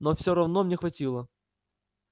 но всё равно мне хватило